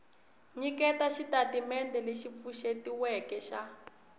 nyiketa xitatimendhe lexi pfuxetiweke xa